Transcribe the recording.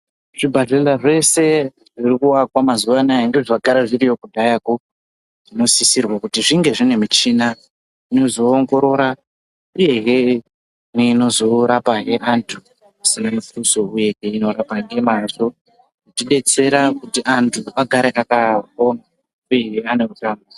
Zvipatara zvese zviri kuakwa mazuwa anaya nezvagara zviriyo kudhayakwo zvinosisirwa kuti zvinge zvine michina inozoongorora uye hee neinozorapa hee antu. Zvisina mutuso uye he ichirapa nemazvo ichidetsera kuti antu agare akapona uyezve ane utano.